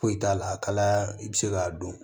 Foyi t'a la kalaya i bɛ se k'a dɔn